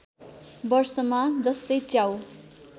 वर्षमा जस्तै च्याउ